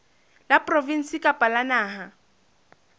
la provinse kapa la naha